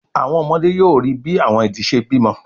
Àwọn ọmọdé yóò ríi bí àwọn idì ṣe bímọ